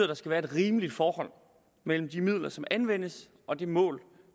der skal være et rimeligt forhold mellem de midler som anvendes og de mål